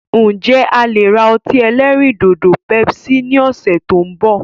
Ǹ jẹ̀ a lè ra ọtí ẹlẹ́rìndòdò "Pepsi" ni ọ̀sẹ̀ tí òun bọ̀.